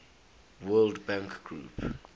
world bank group